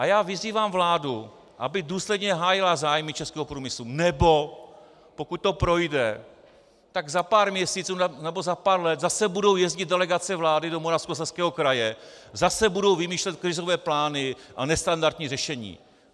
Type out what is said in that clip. A já vyzývám vládu, aby důsledně hájila zájmy českého průmyslu, nebo pokud to projde, tak za pár měsíců nebo za pár let zase budou jezdit delegace vlády do Moravskoslezského kraje, zase budou vymýšlet krizové plány a nestandardní řešení.